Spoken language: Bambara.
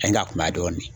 An ka kuma dɔɔnin